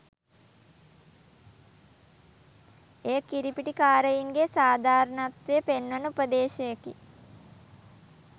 එය කිරිපිටි කාරයින්ගේ සාධාරණත්වය පෙන්වන උපදේශයකි.